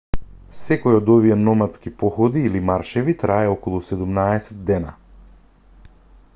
секој од овие номадски походи или маршеви трае околу 17 дена